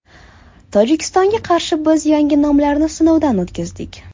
Tojikistonga qarshi biz yangi nomlarni sinovdan o‘tkazdik.